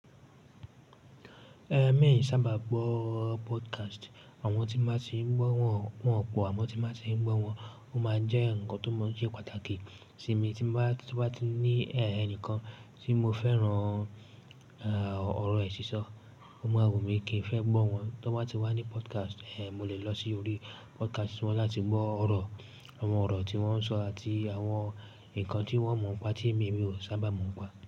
Emi ò sábà gbọ́ podcast. Àwọn tí ba ti ń gbọ́ wọn pọ̀ àmọ́ tí ba ti ń gbọ́ wọn. Ó máa jẹ́ ǹkan tó mọ̀ ṣe pàtàkì sí mi tí n bá, tí n bá ti ní ẹnìkan tí mo fẹ́ràn, eh, ọ̀rọ̀ è sísọ́, o maa wunmi kì í fẹ́ n gbọ́ wọn. To bá ti wá ní podcast, eh, mo lè lọ sí orí podcast wọn láti gbọ́ ọ̀rọ̀, àwọn ọ̀rọ̀ tí wọ́n ń sọ àti àwọn ǹkan tí wọ́n mọ̀ ń pa tí èmi mi ò sábà mọ̀ n pa.